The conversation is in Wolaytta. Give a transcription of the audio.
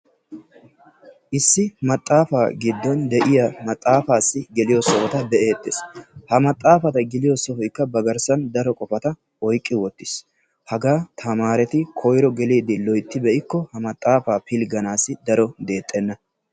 Issi maxaafa giddon de'iyaa maxaafassi geliyo sohota be'ettees. Ha maxaafa geliyo sohoykka ba garssan daro qofata oyqqi wottiis. Hagaa tamarerti koyro geliide loytti be'ikko ha maxaaafa pilgganassi daro deexxena.